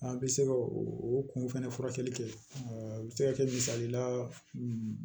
An bɛ se ka o o kun fɛnɛ furakɛli kɛ a bɛ se ka kɛ misalila